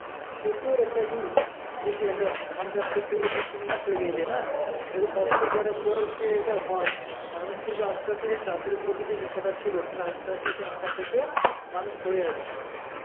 প্রচুর একটা ই যে সে একটা ধান চাষ করতে গেলে দুই তিন মাস লেগেই যায় না, তালে কষ্ট করার পরও যদি এটা হয় মানুষ তো এটা আস্তে আশেরই চাষের প্রতি যে নিশা টা ছিল কিন্তু আস্তে আস্তে সেই নেশার থেকে মানুষ সরে আসবে.